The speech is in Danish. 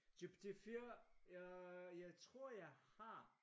GPT4 jeg tror jeg har